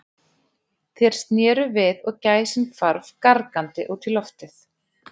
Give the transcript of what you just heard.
Þeir sneru við og gæsin hvarf gargandi út í loftið.